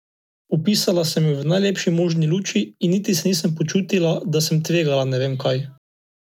Opisala sem jo v najlepši možni luči in niti se nisem počutila, da sem tvegala ne vem kaj.